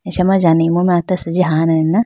acha ma jane imu mai hata asenji hanane na.